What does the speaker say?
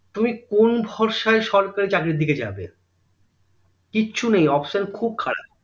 তুমি কোন ভরসায় সরকারি চাকরির দিকে যাবে কিছু নেই option খুব খারাপ